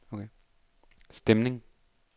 stemning